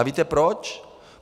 A víte proč?